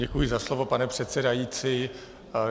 Děkuji za slovo, pane předsedající.